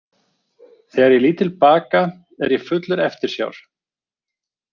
Þegar ég lít til baka er ég fullur eftirsjár.